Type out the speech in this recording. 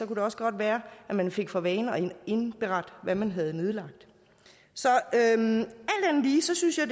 det også godt være at man fik for vane at indberette hvad man havde nedlagt så alt andet lige synes jeg